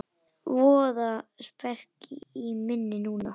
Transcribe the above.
Voða speki í minni núna.